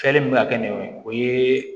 Fɛɛrɛ min bɛ ka kɛ nɛma ye o ye